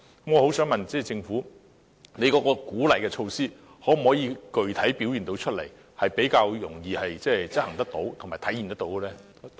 我想問政府，有關的鼓勵措施可否具體地表現出來，以便較容易地執行和體現呢？